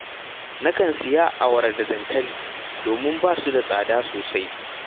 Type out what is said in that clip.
Nakan sayi awara da dankali, domin ba su da tsada sosai